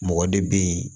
Mɔgɔ de bɛ yen